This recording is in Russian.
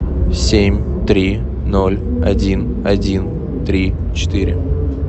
семь три ноль один один три четыре